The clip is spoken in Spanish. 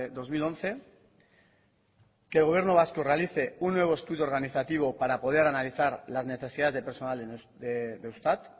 dos mil once que el gobierno vasco realice un nuevo estudio organizativo para poder analizar las necesidades de personal de eustat